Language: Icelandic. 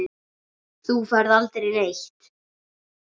Þú ferð aldrei neitt.